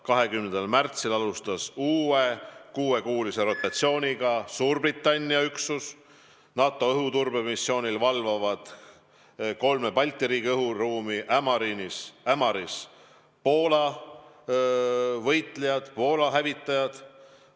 20. märtsil alustas uue kuuekuulise rotatsiooniga Suurbritannia üksus, NATO õhuturbemissioonil valvavad kolme Balti riigi õhuruumi Ämaris Poola võitlejad, Poola hävitajad.